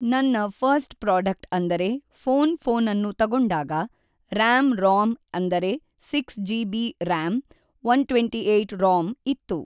ನನ್ನ first product ಅಂದರೆ phone ಫ಼ೋನನ್ನು ತಗೊಂಡಾಗ ರ್‍ಯಾಮ್ ರೋಮ್ ಅಂದರೆ six G B RAM one twenty eight ROM ಇತ್ತು